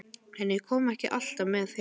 En ég kom ekki alltaf með heim.